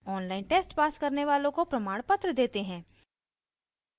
online test pass करने वालों को प्रमाणपत्र देते हैं